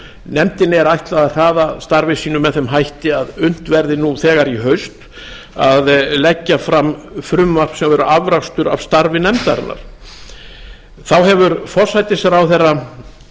nefndinni er ætlað að hraða starfi sínu með þeim hætti að unnt verði nú þegar í haust að leggja fram frumvarp sem er afrakstur af starfi nefndarinnar þá hefur forsætisráðherra